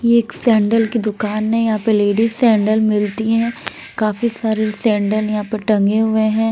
यह एक सैंडल की दुकान है यहाँ पे लेडीज सैंडल मिलती हैं काफी सारे सैंडल यहाँ पर टंगे हुए हैं।